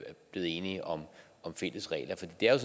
blevet enige om fælles regler for det er